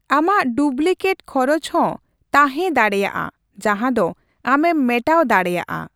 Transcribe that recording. ᱟᱢᱟᱜ ᱰᱩᱯᱞᱤᱠᱮᱴ ᱠᱷᱚᱨᱚᱪᱦᱚᱸ ᱛᱟᱦᱮᱸ ᱫᱟᱲᱮᱭᱟᱜᱼᱟ ᱡᱟᱦᱟᱸ ᱫᱚ ᱟᱢᱮᱢ ᱢᱮᱴᱟᱣ ᱫᱟᱲᱮᱭᱟᱜᱼᱟ ᱾